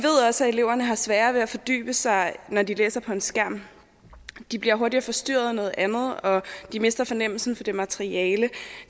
også at eleverne har sværere ved at fordybe sig når de læser på en skærm de bliver hurtigere forstyrret af noget andet og de mister fornemmelsen for det materiale